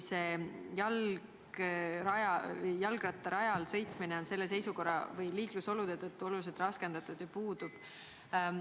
jalgrattarajal sõitmine on selle seisukorra või liiklusolude tõttu oluliselt raskendatud ja puudub ...